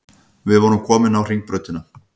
Við vorum komin á Hringbrautina.